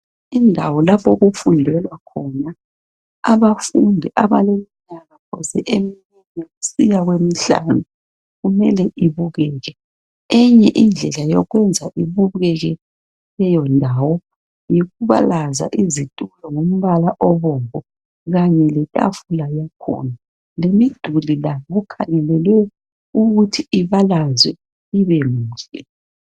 Indawo lapho okufundelwa khona abafundi abaleminyaka phose emine kusiya kwemihlanu. Kumele ibukeke. Enye indlela yokwenza ibukeke leyo ndawo. Yikubalaza izitulo ngombala obomvu. Kanye letafula yakhona. Lemiduli layo kukhangelelwe ukuthi ibalazwe ibe minje.